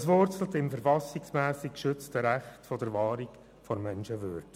Dies wurzelt im verfassungsmässig geschützten Recht auf Wahrung der Menschenwürde.